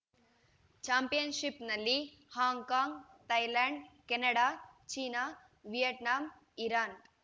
ಚಾಂಪಿಯನ್‌ಷಿಪ್‌ನಲ್ಲಿ Hong Kong Thailand Canada China Vietnam Iran